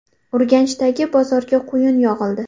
Urganchdagi bozorga quyun yog‘ildi .